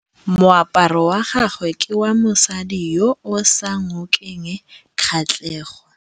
Moaparô wa gagwe ke wa mosadi yo o sa ngôkeng kgatlhegô.